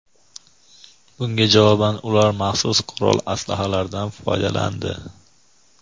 Bunga javoban ular maxsus qurol-aslahalardan foydalandi.